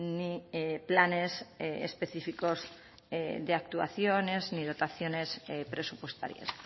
ni planes específicos de actuaciones ni dotaciones presupuestarias